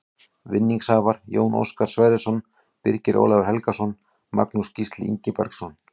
Vinningshafar: Jón Óskar Sverrisson Birgir Ólafur Helgason Magnús Gísli Ingibergsson